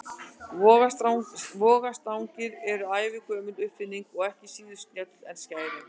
Vogarstangir eru ævagömul uppfinning og ekki síður snjöll en skærin.